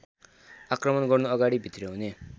आक्रमण गर्नुअगाडि भित्र्याउने